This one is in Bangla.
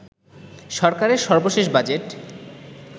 সরকারের সর্বশেষ বাজেট